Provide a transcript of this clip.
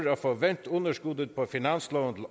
få vendt underskuddet på finansloven